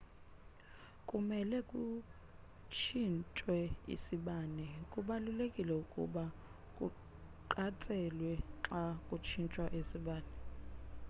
kumele kutshinthwe isibane kubalulekile ukuba kuqatshelwe xa kutshintshwa isibane